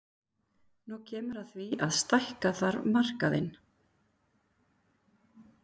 Nú kemur að því að stækka þarf markaðinn.